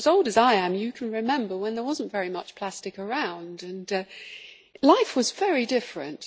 If you are as old as I am, you can remember when there was not very much plastic around and life was very different.